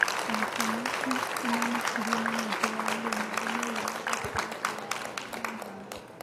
Ahikanĩa acio nĩ mamakirio nĩ mũingĩ wa ageni arĩa meyumĩririe ũhikinĩ wao wa mwanya